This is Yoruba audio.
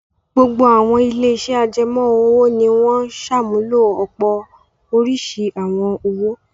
Gbogbo àwọn ilé-iṣẹ́ ajẹmọ́-òwò ni wọn ń ṣàmúlò ọ̀pọ̀ oríṣi àwọn owó.